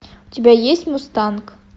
у тебя есть мустанг